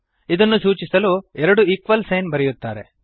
ಇದನ್ನು ಸೂಚಿಸಲು ಎರಡು ಈಕ್ವಲ್ ಸೈನ್ ಬರೆಯುತ್ತಾರೆ